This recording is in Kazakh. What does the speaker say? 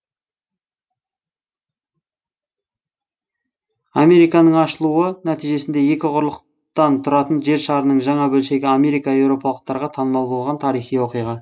американың ашылуы нәтижесінде екі құрлықтан тұратын жер шарының жаңа бөлшегі америка еуропалықтарға танымал болған тарихи оқиға